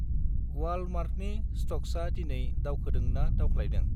वालमार्टनि स्टक्सा दिनै दावखोदों ना दावख्लायदों?